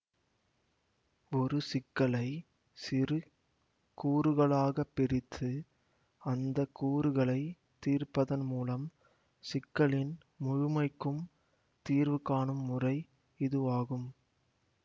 ஒரு சிக்கலை சிறு கூறுகளாகப் பிரித்து அந்த கூறுகளை தீர்ப்பதன் மூலம் சிக்கலின் முழுமைக்கும் தீர்வு காணும் முறை இதுவாகும்